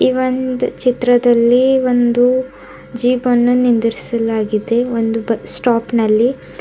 ಈ ಒಂದ್ ಚಿತ್ರದಲ್ಲಿ ಒಂದು ಜೀಪ ನ್ನು ನಿಂದ್ರಿಸಲಾಗಿದೆ ಒಂದು ಬಸ್ ಸ್ಟಾಪ್ ನಲ್ಲಿ.